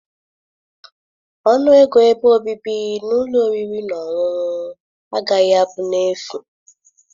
Ọnụ ego ebe obibi na ụlọ oriri na ọṅụṅụ agaghị abụ n'efu.